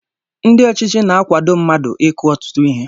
Ndị ọchịchị na akwado mmadụ ịkụ ọtụtụ ihe